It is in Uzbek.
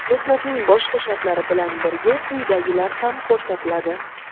mehnatning boshqa shartlari bilan birga quyidagilar ham ko‘rsatiladi:.